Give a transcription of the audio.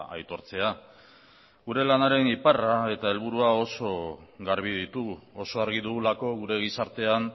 aitortzea gure lanaren iparra eta helburua oso garbi ditugu oso argi dugulako gure gizartean